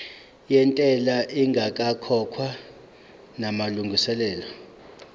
yentela ingakakhokhwa namalungiselo